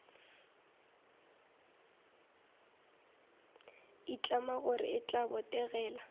itlama gore e tla botegela